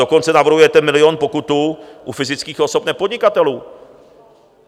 Dokonce navrhujete milion pokutu u fyzických osob nepodnikatelů.